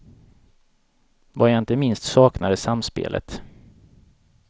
Vad jag inte minst saknar är samspelet.